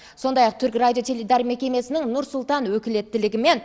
сондай ақ түрік радио теледидар мекемесінің нұр сұлтан өкілеттілігі мен